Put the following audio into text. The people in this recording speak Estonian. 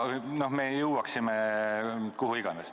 Seega me jõuaksime kuhu iganes.